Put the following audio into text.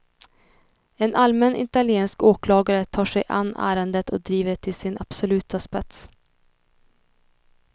En allmän italiensk åklagare tar sig an ärendet och driver det till sin absoluta spets.